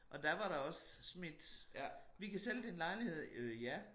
Og der var der også smidt vi kan sælge din lejlighed øh ja